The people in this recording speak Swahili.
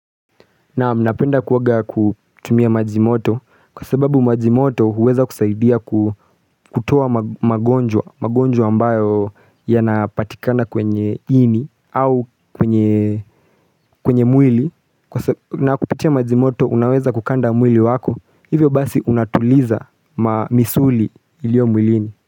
Naamu napenda kuoga kutumia majimoto kwa sababu majimoto uweza kusaidia kutoa magonjwa magonjwa ambayo yanapatikana kwenye ini au kwenye mwili kwa sababu na kupitia majimoto unaweza kukanda mwili wako hivyo basi unatuliza mamisuli ilio mwilini.